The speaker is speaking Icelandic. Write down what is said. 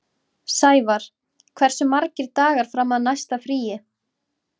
Sævarr, hversu margir dagar fram að næsta fríi?